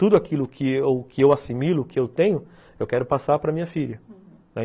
Tudo aquilo que eu que eu assimilo, que eu tenho, eu quero passar para minha filha,